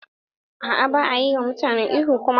A'a baya yi mutane ihu kuma.